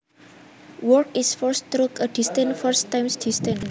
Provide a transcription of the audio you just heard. Work is force through a distance force times distance